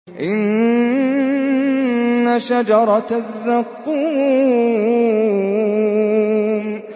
إِنَّ شَجَرَتَ الزَّقُّومِ